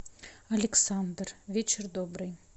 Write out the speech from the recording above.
александр вечер добрый